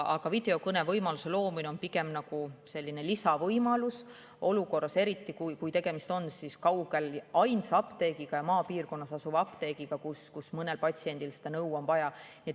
Aga videokõnevõimaluse loomine on pigem selline lisavõimalus, eriti kui tegemist on ainsa, kaugel maapiirkonnas asuva apteegiga, kus mõnel patsiendil seda nõu on vaja.